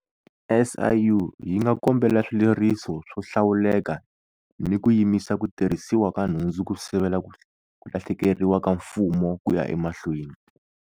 SIU yi nga kombela swileriso swo hlawuleka ni ku yimisa ku tirhisiwa ka nhundzu ku sivela ku lahlekeriwa ka Mfumo ku ya emahlweni.